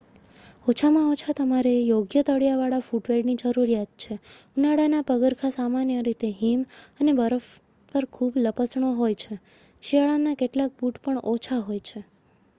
ઓછામાં ઓછા તમારે યોગ્ય તળિયા વાળા ફૂટવેરની જરૂર છે ઉનાળાના પગરખાં સામાન્ય રીતે હિમ અને બરફ પર ખૂબ લપસણો હોય છે શિયાળાના કેટલાક બૂટ પણ ઓછા હોય છે